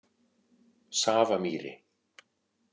Safamýri